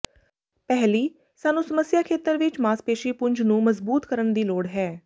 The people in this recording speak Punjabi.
ਪਹਿਲੀ ਸਾਨੂੰ ਸਮੱਸਿਆ ਖੇਤਰ ਵਿਚ ਮਾਸਪੇਸ਼ੀ ਪੁੰਜ ਨੂੰ ਮਜ਼ਬੂਤ ਕਰਨ ਦੀ ਲੋੜ ਹੈ